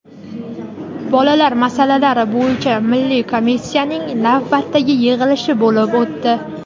Bolalar masalalari bo‘yicha milliy komissiyasining navbatdagi yig‘ilishi bo‘lib o‘tdi.